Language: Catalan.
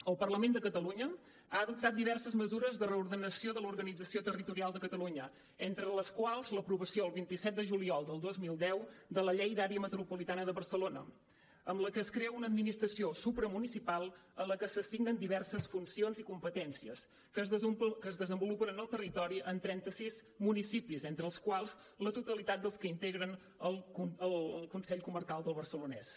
el parlament de catalunya ha dotat diverses mesures de reordenació de l’organització territorial de catalunya entre les quals l’aprovació el vint set de juliol del dos mil deu de la llei de l’àrea metropolitana de barcelona amb la que es crea una administració supramunicipal en la que s’assignen diverses funcions i competències que es desenvolupen en el territori en trenta sis municipis entre els quals la totalitat dels que integren el consell comarcal del barcelonès